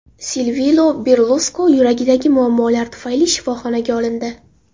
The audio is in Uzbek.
Silvio Berluskoni yuragidagi muammolar tufayli shifoxonaga olindi.